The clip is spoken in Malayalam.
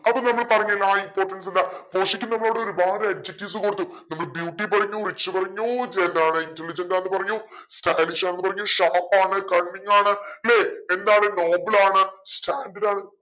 അപ്പൊ നമ്മൾ പറഞ്ഞന്നാ importance എന്താ പോഷിയോക്ക് നമ്മോട് ഒരുപാട് adjectives കൊടുത്തു. നമ്മൾ beauty പറഞ്ഞു rich പറഞ്ഞു intelligent ആന്ന് പറഞ്ഞു stylish ആണ് പറഞ്ഞു sharp ആണ് cunning ആണ് ലെ എന്താണ് noble ആണ് standard ആണ്